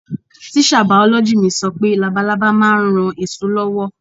Tíṣà bìọ̀lọ́gì mi sọ pé labalábá ma ń ran èso lọ́wọ́.